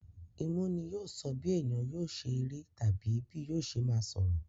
Imú ni yóò sọ bí èèyàn yóò sẹ rí àti bí yóò ṣe máa sọ̀rọ̀.